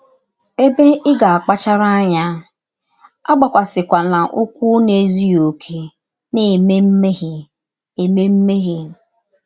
Ebe ị ga - akpachara anya: Agbakwasịkwala ụkwụ n’ezụghị ọkè na - eme mmehie - eme mmehie.